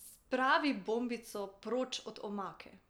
Spravi bombico proč od omake!